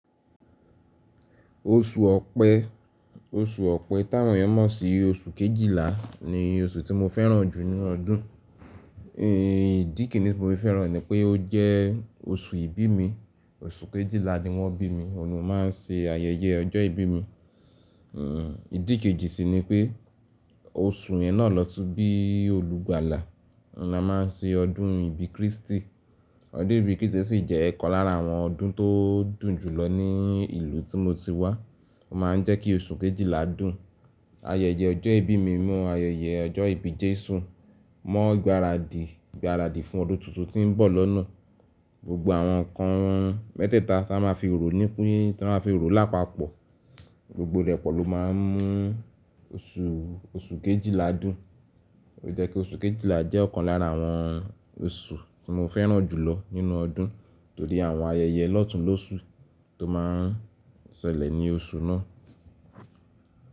Oṣù Ọ̀pẹ, oṣù Ọ̀pẹ táwọn yẹn mọ̀ sí oṣù Kejìlá ni oṣù tí mo fẹ́ràn jù nínú ọdún. Ìdí kini ti mo fi fẹ́ràn e ni pé ó jẹ́ oṣù ìbí mi. Oṣù Kejìlá ni wọ́n bí mi, ọlọ́run máa ń ṣe ayẹyẹ ọjọ́ ìbí mi. Ìdí kejì sì ni pé oṣù yẹn náà lọ́tùú bí olúgbàlà, ni a máa ń ṣe ọdún ìbí Krístì. Ọdún ìbí Krístì sì jẹ́ ọ̀kan lára àwọn ọdún tó dùn jùlọ ní ìlú tí mo ti wá. Ó máa ń jẹ́ kí oṣù Kejìlá dùn. Ayẹyẹ ọjọ́ ìbí mi mọ ayẹyẹ ọjọ́ ìbí Jésù mọ gbáradì, ìgbáradì fún ọdún tuntun tí ń bọ̀ lọ́nà. Gbogbo àwọn nǹkan mẹ́tẹ̀ẹ̀ta tí a máa fi rò nípin, tí a máa fi orò lápapọ̀, gbogbo rẹ̀ pọ̀ ló máa ń mú oṣù, oṣù Kejìlá dùn. lÓ jẹ́ ki oṣù Kejìlá jẹ́ ọ̀kan lára àwọn oṣù tí mo fẹ́ràn jùlọ nínú ọdún torí àwọn ayẹyẹ lọ́tùn lósi tó máa ń ṣẹlẹ̀ ní oṣù náà.